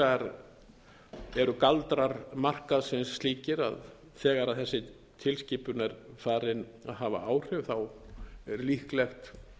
vegar eru galdrar markaðsins slíkir að þegar þessi tilskipun er farin að hafa áhrif er líklegt